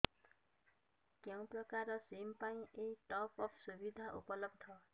କେଉଁ ପ୍ରକାର ସିମ୍ ପାଇଁ ଏଇ ଟପ୍ଅପ୍ ସୁବିଧା ଉପଲବ୍ଧ